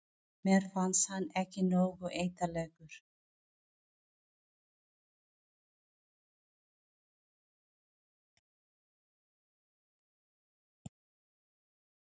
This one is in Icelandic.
Mér fannst hann ekki nógu ítarlegur.